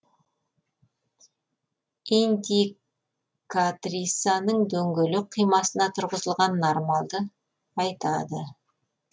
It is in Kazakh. индикатрисаның дөңгелек қимасына тұрғызылған нормалды айтады